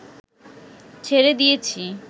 ছেড়ে দিয়েছি